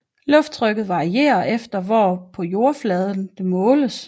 Lufttrykket varierer efter hvor på jordoverfladen det måles